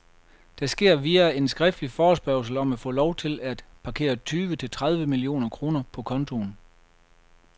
Det sker via en skriftlig forespørgsel om at få lov til at parkere tyve til tredive millioner kroner på kontoen.